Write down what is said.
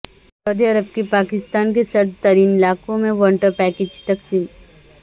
سعودی عرب کی پاکستان کے سرد ترین علاقوں میں ونٹرپیکج تقسیم